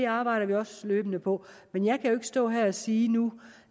arbejder vi også løbende på men jeg kan jo stå her og sige nu